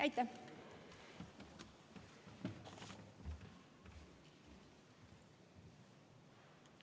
Aitäh!